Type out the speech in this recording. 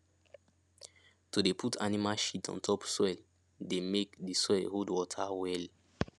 to dey put animal shit on top soil dey make the soil hold water well